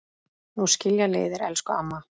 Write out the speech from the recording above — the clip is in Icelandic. Nú skilja leiðir, elsku amma.